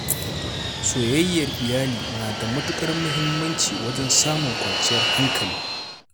Soyayyar iyali na da matuƙar muhimmanci wajen samun kwanciyar hankali.